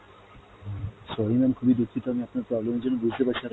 হম sorry mam খুব ই দুক্ষিত আপনার প্রবলেম এর জন্য বুজতে পারছি